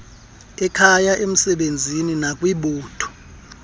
ekhaya emsebenzini nakwibutho